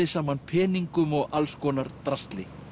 saman peningum og alls konar drasli